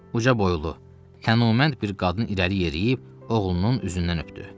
Ucaboylu, kəmalənd bir qadın irəli yeriyib oğlunun üzündən öpdü.